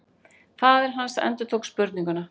Faðir hans endurtók spurninguna.